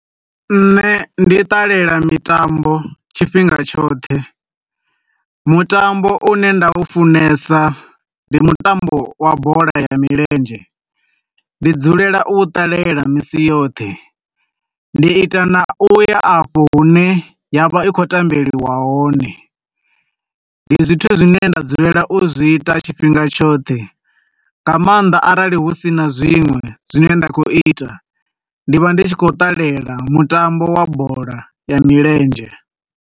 Nṋe ndi ṱalela mitambo tshifhinga tshoṱhe, mutambo une nda u funesa ndi mutambo wa bola ya milenzhe. Ndi dzulela u ṱalela misi yoṱhe, ndi ita na u ya afho hune ya vha i khou tambeliwa hone. Ndi zwithu zwine nda dzulela u zwi ita tshifhinga tshoṱhe, nga maanḓa arali hu sina zwinwe zwi ne nda khou ita, ndi vha ndi tshi khou ṱalela mutambo wa bola ya milenzhe.